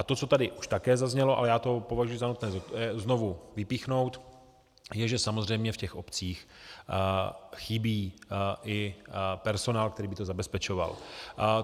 A to, co tady už také zaznělo, ale já to považuji za nutné znovu vypíchnout, je, že samozřejmě v těch obcích chybí i personál, který by to zabezpečoval.